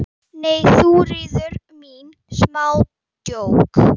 Nei, Þuríður mín, smá djók.